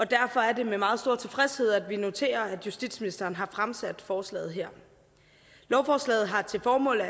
derfor er det med meget stor tilfredshed at vi noterer at justitsministeren har fremsat forslaget her lovforslaget har til formål